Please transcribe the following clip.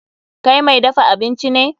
Kai mai dafa abinci ne.